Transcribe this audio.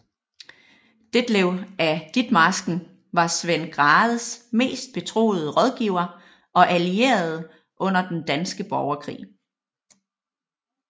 Detlev af Ditmarsken var Svend Grathes mest betroede rådgiver og allierede under Den danske Borgerkrig